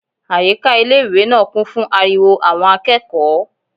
Àyíká ilé-ìwé náà kún fún ariwo àwọn akẹ́kọ̀ọ́